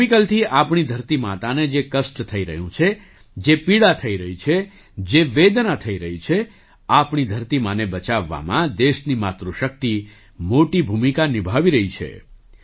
કેમિકલથી આપણી ધરતી માતાને જે કષ્ટ થઈ રહ્યું છે જે પીડા થઈ રહી છે જે વેદના થઈ રહી છે આપણી ધરતી માને બચાવવામાં દેશની માતૃશક્તિ મોટી ભૂમિકા નિભાવી રહી છે